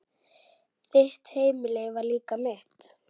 Þitt heimili var líka mitt.